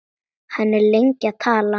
Hann er lengi að tala.